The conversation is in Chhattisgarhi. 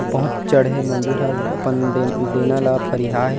बहुत चढ़े मंजूर ह अपन डन डेना ला फरिया हे।